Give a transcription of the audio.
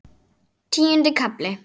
Tíundi kafli